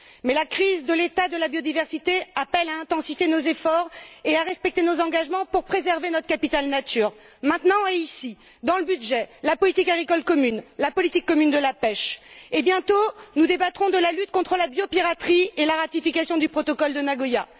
Mais la crise de l'état de la biodiversité appelle à intensifier nos efforts et à respecter nos engagements pour préserver notre capital nature, maintenant et ici, dans le budget, la politique agricole commune, la politique commune de la pêche et, bientôt, nous débattrons de la lutte contre la biopiraterie et la ratification du protocole de Nagoya.